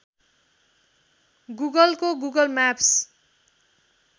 गुगलको Google Maps